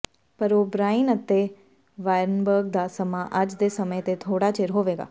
ਪਰ O'Brien ਅਤੇ Weinberg ਦਾ ਸਮਾਂ ਅੱਜ ਦੇ ਸਮੇਂ ਤੇ ਥੋੜਾ ਚਿਰ ਹੋਵੇਗਾ